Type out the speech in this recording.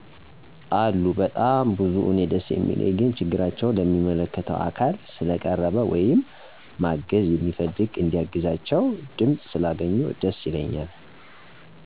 አሉ በጣም ብዙ። እኔ ደስ የሚለኝ ግን ችግራቸው ለሚመለከተው አካል ስለቀረበ ወይም ማገዝ የሚፈልግ እንዲያግዛቸው ድምፅ ስላገኙ ደስ ይለኛል።